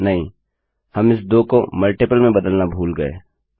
नहीं हम इस 2 को गुणज में बदलना भूल गये